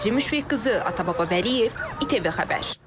Nəzrin Müşfiqqızı, Atababa Vəliyev, ATV Xəbər.